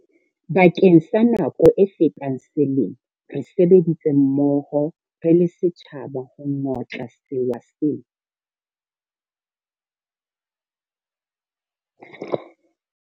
Bakeng sa nako e fetang selemo, re sebeditse mmoho re le setjhaba ho ngotla sewa sena.